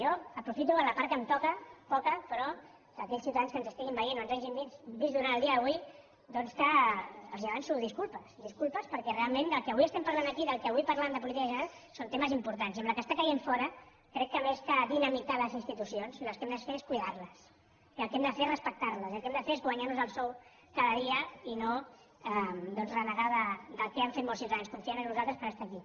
jo aprofito la part que em toca poca però perquè a aquells ciutadans que ens estiguin veient o ens hagin vist durant el dia d’avui doncs els avanço disculpes disculpes perquè realment del que avui estem parlant aquí i del que avui parlàvem de política general són temes importants i amb la que està caient fora crec que més que dinamitar les institucions el que hem de fer és cuidar les i el que hem de fer és respectar les i el que hem de fer és guanyar nos el sou cada dia i no doncs renegar del que han fet molts ciutadans confiant en nosaltres per estar aquí